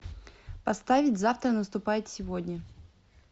поставить завтра наступает сегодня